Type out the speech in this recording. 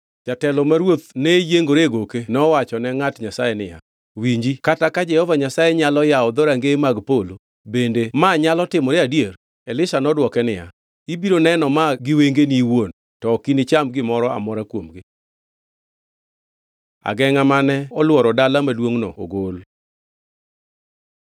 Jatelo ma ruoth ne yiengore e goke nowachone ngʼat Nyasaye niya, “Winji, kata ka Jehova Nyasaye nyalo yawo dhorangeye mag polo, bende manyalo timore adier?” Elisha nodwoke niya, “Ibiro neno ma gi wengeni iwuon, to ok inicham gimoro amora kuomgi!” Agengʼa mane olworo dala maduongʼno ogol